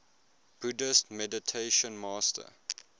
buddhist meditation master